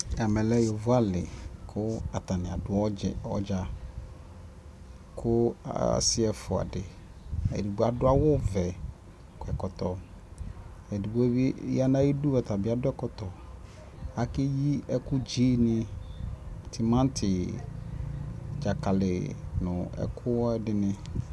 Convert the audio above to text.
ɛmɛ lɛ yɔvɔ ali kʋ atani adʋ ɔdza, kʋ asii ɛƒʋa di, ɛdigbɔ adʋ awʋ vɛ kɔ ɛkɔtɔ, ɛdigbɔ bi yanʋ ayidʋ ɔtabi adʋ ɛkɔtɔ, akɛ yi ɛkʋ dzi ni mʋtʋmati, dzakali nʋ ɛkuɛdini